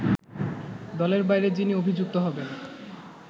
দলের বাইরে যিনি অভিযুক্ত হবেন